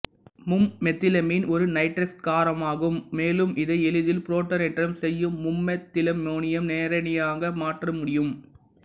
மும்மெத்திலமீன் ஒரு நைட்ரசக் காரமாகும் மேலும் இதை எளிதில் புரோட்டானேற்றம் செய்து மும்மெத்திலம்மோனியம் நேரயனியாக மாற்ற முடியும்